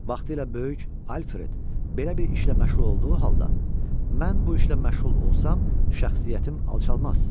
Vaxtilə böyük Alfred belə bir işlə məşğul olduğu halda, mən bu işlə məşğul olsam, şəxsiyyətim alçalmaz.